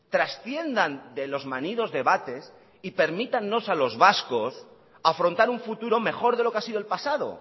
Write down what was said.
trasciendan de los manidos debates y permítanos a los vascos afrontar un futuro mejor de lo que ha sido el pasado